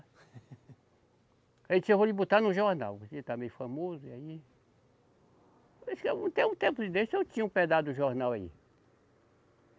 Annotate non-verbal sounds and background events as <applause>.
<laughs> Aí disse, eu vou lhe botar no jornal, você está meio famoso, e aí. Por isso que até um tempo desse, eu tinha um pedaço do jornal aí.